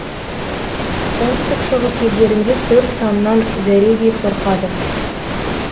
оңтүстік шығыс елдерінде төрт санынан зәредей қорқады